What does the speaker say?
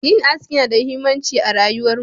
Yin aski yana da muhimmanci a rayuwarmu.